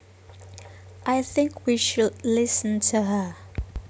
I think we should listen to her